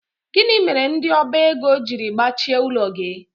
Gịnị mere ndị ọba ego jiri gbachie ụlọ gị?